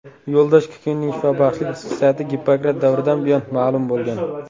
Yo‘ldosh kukunining shifobaxshlik xususiyati Gippokrat davridan buyon ma’lum bo‘lgan.